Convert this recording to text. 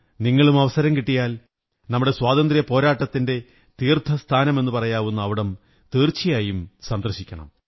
നിങ്ങളും അവസരം കിട്ടിയാൽ നമ്മുടെ സ്വാതന്ത്ര്യപോരാട്ടത്തിന്റെ തീര്ത്ഥകസ്ഥാനമെന്നു പറയാവുന്ന അവിടെ തീര്ച്ചുയായും പോകണം